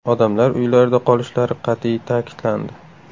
Odamlar uylarida qolishlari qat’iy ta’kidlandi.